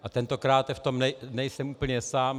A tentokrát v tom nejsem úplně sám.